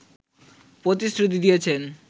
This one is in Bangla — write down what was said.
প্রতিশ্রুতি দিয়েছেন